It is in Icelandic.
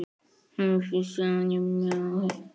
Hann heyrir líka raddir.